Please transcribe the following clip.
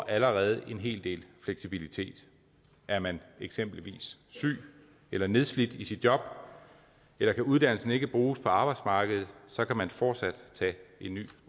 allerede en hel del fleksibilitet er man eksempelvis syg eller nedslidt i sit job eller kan uddannelsen ikke bruges på arbejdsmarkedet så kan man fortsat tage en ny